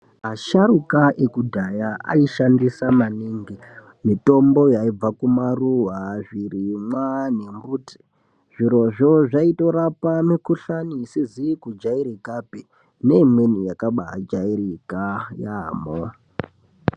Asharuka ekudhaya aishandisa maningi mitombo yaibva kumaruwa, zvirimwa nembuti. Zvirozvo zvaitorapa mikhuhlani isizi kujairikapi neimweni yakabaajairika yaamho.